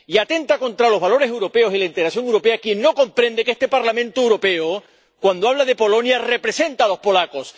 Y atenta contra los valores europeos y la integración europea quien no comprende que este Parlamento Europeo, cuando habla de Polonia, representa a los polacos.